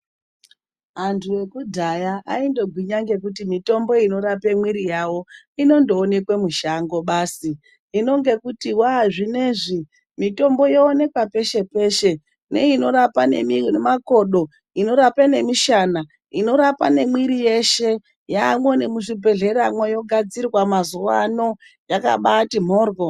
Antu ekudhaya aindogwinya ngekuti mitombo inorape mwiri yawo, inondoonekwe mushango basi. Hino ngekuti waa zvinezvi, mitombo yooneka peshe peshe. Neinorapa nemakodo; inorapa nemishana; inorapa nemwiri yeshe, yaamwo nemuzvibhedhlera mwo. Yogadzirwa mazuwa ano, yakabaati mhoryo